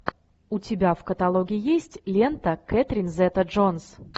у тебя в каталоге есть лента кэтрин зета джонс